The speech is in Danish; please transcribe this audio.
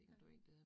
Ja